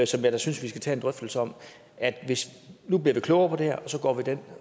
som jeg da synes vi skal tage en drøftelse om nu bliver vi klogere på det og så går vi den